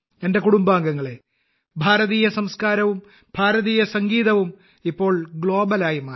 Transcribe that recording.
എന്റെ കുടുംബാംഗങ്ങളെ ഭാരതീയ സംസ്കാരവും ഭാരതീയ സംഗീതവും ഇപ്പോൾ ആഗോളമായി മാറി